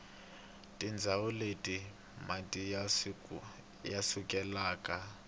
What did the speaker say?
tindzawu leti mati ya sukelaka